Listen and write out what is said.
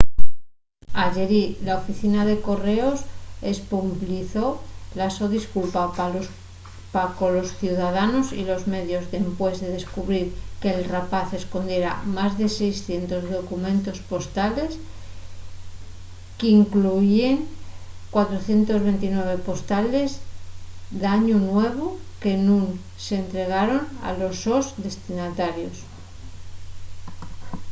ayerí la oficina de correos espublizó la so disculpa pa colos ciudadanos y los medios dempués de descubrir que’l rapaz escondiera más de 600 documentos postales qu’incluyíen 429 postales d’añu nuevu que nun s’entregaran a los sos destinatarios